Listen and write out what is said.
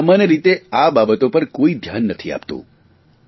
પરંતુ સામાન્ય રીતે આ બાબતો પર કોઇ ધ્યાન નથી આપતું